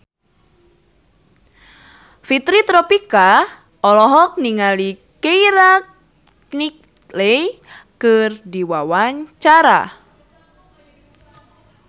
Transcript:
Fitri Tropika olohok ningali Keira Knightley keur diwawancara